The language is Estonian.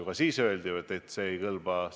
Ka siis öeldi ju, et see ei kõlba.